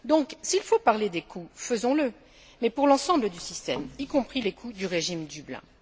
Donc, s'il faut parler des coûts, faisons le, mais pour l'ensemble du système, y compris les coûts du régime Dublin.